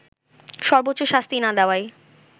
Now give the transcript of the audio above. সর্বোচ্চ শাস্তি না দেয়ায়